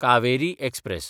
Kaveri express